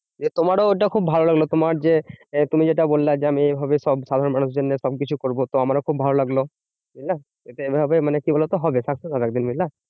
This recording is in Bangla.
যে তোমারও ওটা খুব ভালো লাগলো তোমার যে, তুমি যেটা বললে যে আমি এইভাবেই সব ভালো মানুষদের নিয়ে সবকিছু করবো। তো আমারও খুব ভালো লাগলো, বুঝলা? এটা এইভাবে মানে কি বলতো? হবে success হবে একদিন বুঝলা?